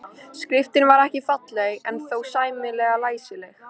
Skriftin var ekki falleg en þó sæmilega læsileg.